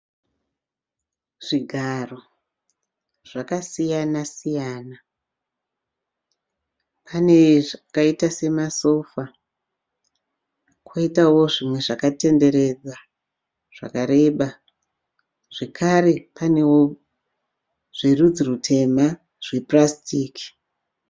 Zvigaro zvakasiyana siyana. Pane zvakaita semasofa kwoitawo zvimwe zvakatenderera zvakareba zvakare panewo zverudzi rutema zvapurasitiki